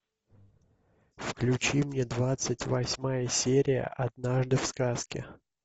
включи мне двадцать восьмая серия однажды в сказке